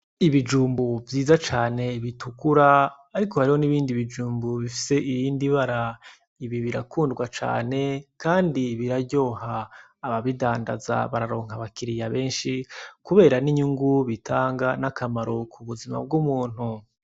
Ibijumbu vyiza cane bitukura ariko hariho n’ibindi bijumbu bifise iyindi bara. Ibi birakundwa cane kandi biraryoha, ababidandaza bararonka abakiriya benshi kubera n’inyungu bitanga n'akamaro ku buzima bw’umuntu.